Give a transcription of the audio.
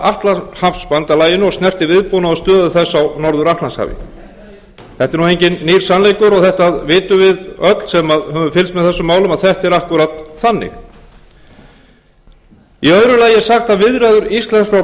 atlantshafsbandalaginu og snerti viðbúnað og stöðu þess á norður atlantshafi þetta er nú enginn nýr sannleikur og þetta vitum við öll sem höfum felst með þessum málum að þetta er akkúrat þannig í öðru lagi er sagt að viðræður íslenskra og